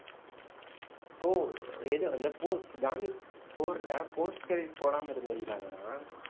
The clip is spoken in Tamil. இப்போ எது அந்த four ஜான்விக் four ல post credit போடாம இருந்திருந்தாங்கன்னா